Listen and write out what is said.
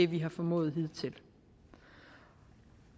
vi har formået hidtil